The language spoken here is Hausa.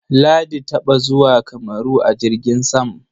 Ladi taɓa zuwa Kamaru a jirgin sam.